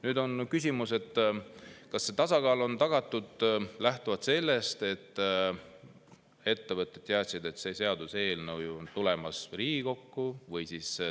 Nüüd on küsimus, kas see tasakaal on tagatud, et ettevõtted teadsid, et see seaduseelnõu on tulemas Riigikokku.